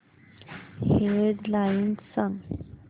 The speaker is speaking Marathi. हेड लाइन्स सांग